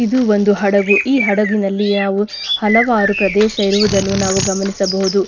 ಇದು ಒಂದು ಹಡಗು ಈ ಹಡಗಿನಲ್ಲಿ ಯಾವು ಹಲವಾರು ಪ್ರದೇಶ ಇರುವುದನ್ನು ನಾವು ಗಮನಿಸಬಹುದು.